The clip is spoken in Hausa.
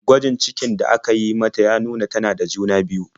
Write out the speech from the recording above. Gwajin cikin da aka yi mata ya nuna tana da juna-biyu.